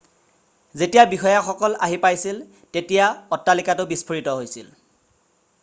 যেতিয়া বিষয়াসকল আহি পাইছিল তেতিয়া অট্টালিকাটো বিস্ফোৰিত হৈছিল